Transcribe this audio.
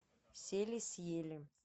сели съели